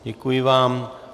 Děkuji vám.